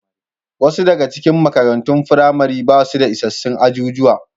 Wasu daga cikin makarantun firamare ba su da isassun ajujuwa.